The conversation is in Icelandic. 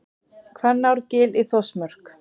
Hvannárgil í Þórsmörk.